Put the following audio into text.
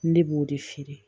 Ne b'o de feere